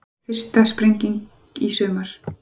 Fyrsta sprenging í sumar